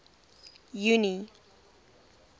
junie